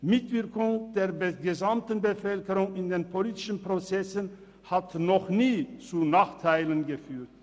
Die Mitwirkung der gesamten Bevölkerung in den politischen Prozessen hat noch nie zu Nachteilen geführt.